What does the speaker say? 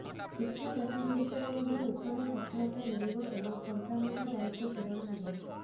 ଶିକ୍ଷା ପ୍ରତିଯୋଗିତାରେ ମଧ୍ୟ ଉତ୍ତମ ସଫଳତା ମିଳିବ ଏବଂ ସନ୍ତାନଙ୍କ ଦାୟିତ୍ବ ପୂରଣ ହେବ